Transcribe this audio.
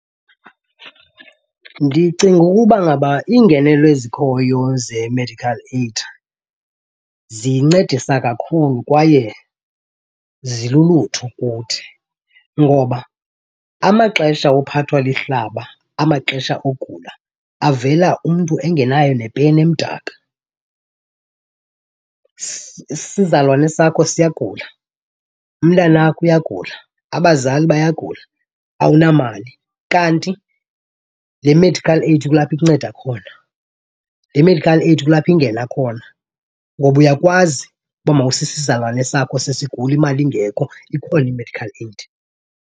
Ndicinga ukuba ngaba iingenelo ezikhoyo ze-medical aid zincedisa kakhulu kwaye zilulutho kuthi ngoba amaxesha ophathwa lihlaba amaxesha ogula avela umntu engenayo nepeni emdaka. Isizalwane sakho siyagula, umntana wakho uyagula, abazali bayagula, awunamali. Kanti le medical aid kulapho ikunceda khona, le medical aid kulapho ingena khona ngoba uyakwazi uba mawuse isizalwane sakho sesigula imali ingekho, ikhona i-medical aid.